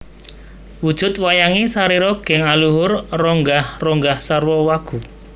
Wujud wayange sarira geng aluhur ronggah ronggah sarwa wagu